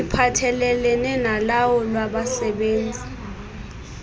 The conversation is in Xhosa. iphathelelene nolawulo lwabasebenzi